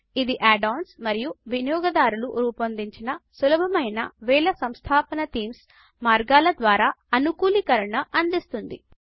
ఇది add ons మరియు వినియోగదారులు రూపొందించిన సులభమైన వేల సంస్థాపన థీమ్స్ మార్గాల ద్వారా అనుకూలీకరణ అందిస్తుంది